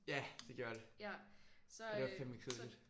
Ja det gjorde det. Det var fandeme kedeligt